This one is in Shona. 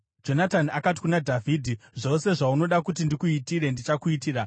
Jonatani akati kuna Dhavhidhi, “Zvose zvaunoda kuti ndikuitire, ndichakuitira.”